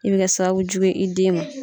I be kɛ sababu jugu ye i den ma.